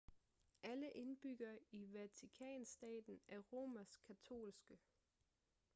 alle indbyggere i vatikanstaten er romersk katolske